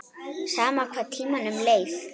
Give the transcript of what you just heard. Sama hvað tímanum leið.